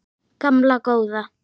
Gamla góða